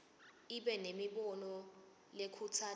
ibe nemibono lekhutsata